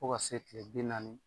Fo ka se kile bi naani